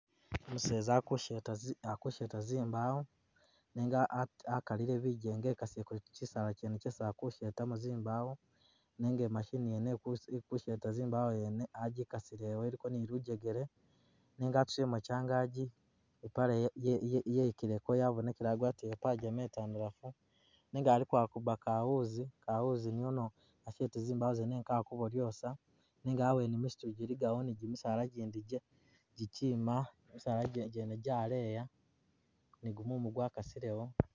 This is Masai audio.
Umuseza ali kusheta zimbawo nega akalile bijenga ekasileko kyisala kyene kyesi ali kushetamo zimbawo nenga i machine yene ili kusheta zimbawo yene a gikasilewo iliko ni lujegele nenga atusilemo kyangagi ipale yekileko yabonekele agwatile ipajama itandalafu nenga aliko akuba kawuzi, kawuzi niyoni ashete zimbawo zene nga kali kubodyosa nenga hawene misitu giligawo ni gimisaala gindi gikyima misala gyene gyaleya ni gumumu gwakasilewo.